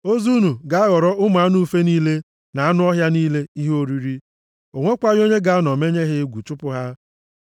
Ozu unu ga-aghọrọ ụmụ anụ ufe niile na anụ ọhịa niile ihe oriri. O nwekwaghị onye ga-anọ menye ha egwu chụpụ ha.